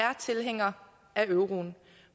er tilhængere af euroen